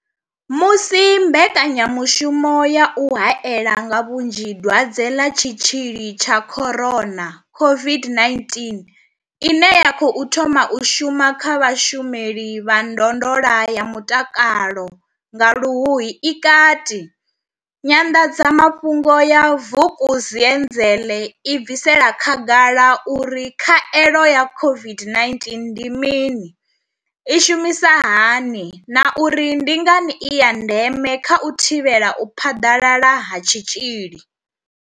Musi mbekanya mushumo ya u hae la nga vhunzhi Dwadze ḽa Tshitzhili tsha corona COVID-19 ine ya khou thoma u shuma kha vhashumeli vha ndondolo ya mutakalo nga Luhuhi i kati, Nyanḓadza mafhungo ya Vukuzenzele i bvisela khagala uri khaelo ya COVID-19 ndi mini, i shumisa hani na uri ndi ngani i ya ndeme kha u thivhela u phaḓalala ha tshitzhili.